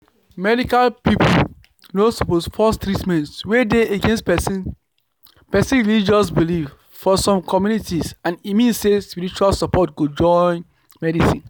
medical people no suppose force treatment wey dey against person person religious belief for some communities and e mean say spiritual support go join medicine